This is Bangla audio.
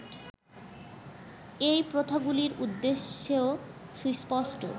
এই প্রথাগুলির উদ্দেশ্য সুস্পষ্ট